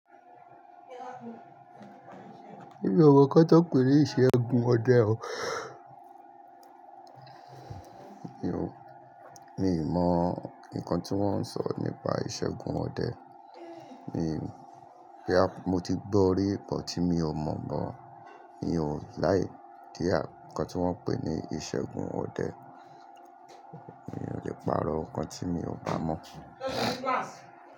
Mi ò mọ ǹkan tí wọ́n pè ní ìṣẹ́gun ọdẹ o, mi ò mọ nǹkan tí wọ́n ń sọ nípa ìṣẹ́gun ọdẹ. Mo ti gbọ́ rí but mi ò mọ̀, bọ, mi ò laì ideal nǹkan tí wọ́n ń pè ní ìṣẹ́gun ọdẹ. Mi ò lè pàrọ̀ nǹkan tí mi ò bá mọ̀.